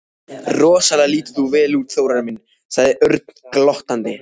Rosalega lítur þú vel út, Þórarinn minn sagði Örn glottandi.